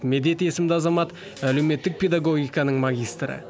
медет есімді азамат әлеуметтік педагогиканың магистрі